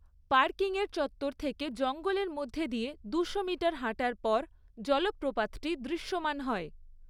পার্কিংয়ের চত্বর থেকে জঙ্গলের মধ্যে দিয়ে দুশো মিটার হাঁটার পর জলপ্রপাতটি দৃশ্যমান হয়।